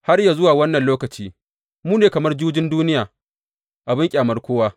Har yă zuwa wannan lokaci, mu ne kamar jujin duniya, abin ƙyamar kowa.